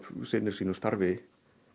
sinnir sínu starfi